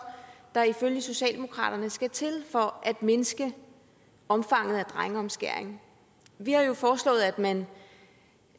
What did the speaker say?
der ifølge socialdemokratiet skal til for at mindske omfanget af drengeomskæring vi har jo foreslået at man